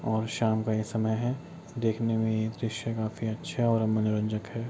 और शाम का ही समय है देखने में ये दृश्य काफी अच्छा और मनोरंजक है।